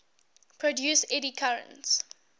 produce eddy currents